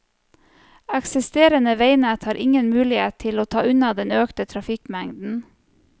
Eksisterende veinett har ingen mulighet til å ta unna den økte trafikkmengden.